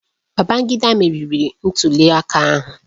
Babangida meriri ntuliaka ahụ